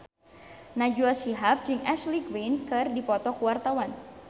Najwa Shihab jeung Ashley Greene keur dipoto ku wartawan